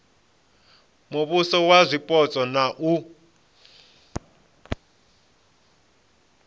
muvhuso wa zwipotso na u